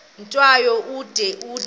tyambo ude umthi